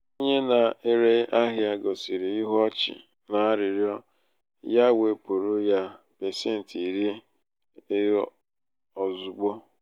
onye na-ere ahịa gosiri ihu ọchị n'arịrịo ya wepụrụ ya ya pasenti iri ozugbo.